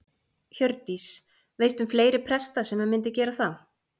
Hjördís: Veistu um fleiri presta sem myndu gera það?